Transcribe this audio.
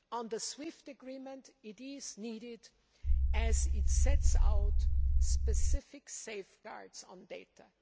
The SWIFT agreement is needed as it sets out specific safeguards on data.